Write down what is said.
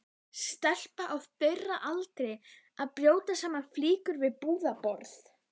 Stelpa á þeirra aldri að brjóta saman flíkur við búðarborð.